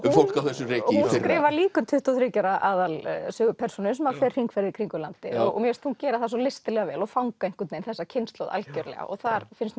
fólk á þessu reki hún skrifar líka um tuttugu og þriggja ára aðalpersónu sem fer hringferð í kringum landið og mér finnst hún gera það svo listilega vel og fanga einhvern veginn þessa kynslóð algerlega og það finnst